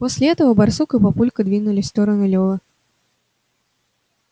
после этого барсук и папулька двинулись в сторону лёвы